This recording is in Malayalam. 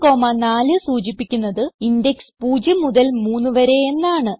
0 4 സൂചിപ്പിക്കുന്നത് ഇൻഡെക്സ് 0 മുതൽ 3 വരെ എന്നാണ്